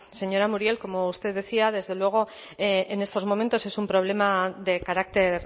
señora muriel como usted decía desde luego en estos momentos es un problema de carácter